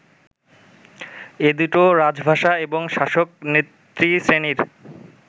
এ দুটো রাজভাষা এবং শাসক নেতৃশ্রেণীর